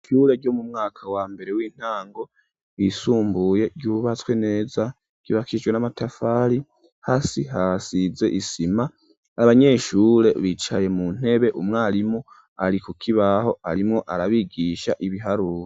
Ishure ryo mu mwaka wa mbere w'intango ryisumbuye ryubatswe neza ryubakihijwe n'amatafari, hasi hasize isima ,abanyeshure bicaye mu ntebe, umwarimu ari kukibaho arimwo arabigisha ibiharuro.